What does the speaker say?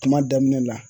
Kuma daminɛ la